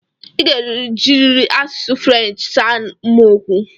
I ga-ejirịrị asụsụ French saa m okwu!